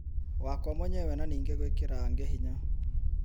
wakwa mwenyewe na ningĩ gwĩkĩra angĩ hinya